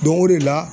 Don o de la